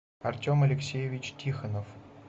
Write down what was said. артем алексеевич тихонов